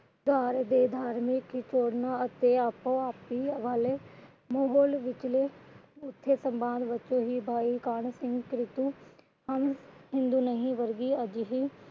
ਹਮ ਹਿੰਦੂ ਨਹੀਂ ਵਰਗੇ ਅਜਿਹੇ